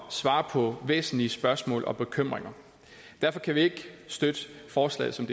svarer på væsentlige spørgsmål og bekymringer derfor kan vi ikke støtte forslaget som